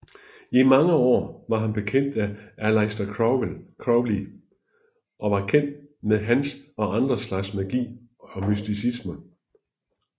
I mange år var han bekendt af Aleister Crowley og var kendt med hans og andre slags magi og mysticisme